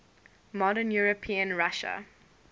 modern european russia